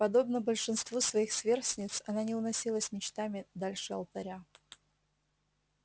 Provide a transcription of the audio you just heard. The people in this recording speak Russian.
подобно большинству своих сверстниц она не уносилась мечтами дальше алтаря